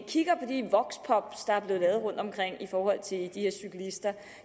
kigger på de voxpops der er blevet lavet rundtomkring i forhold til de her cyklister